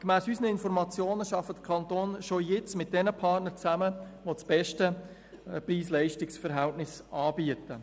Gemäss unseren Informationen arbeiten die Kantone bereits jetzt mit den Partnern zusammen, die das beste PreisLeistungs-Verhältnis anbieten.